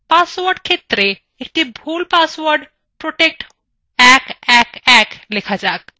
password ক্ষেত্রএ একটি ভুল পাসওয়ার্ড protect111 লেখা যাক